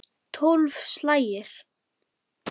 Tólf slagir!